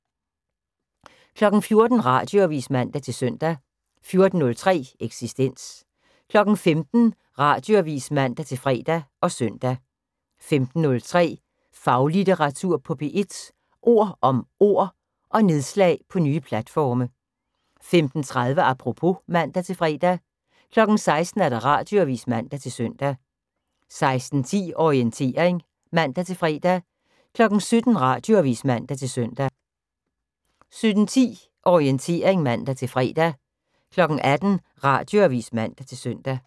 14:00: Radioavis (man-søn) 14:03: Eksistens 15:00: Radioavis (man-fre og søn) 15:03: Faglitteratur på P1: Ord om ord – og nedslag på nye platforme 15:30: Apropos (man-fre) 16:00: Radioavis (man-søn) 16:10: Orientering (man-fre) 17:00: Radioavis (man-søn) 17:10: Orientering (man-fre) 18:00: Radioavis (man-søn)